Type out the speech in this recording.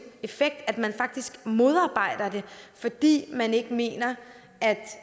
effekt altså at man faktisk modarbejder det fordi man ikke mener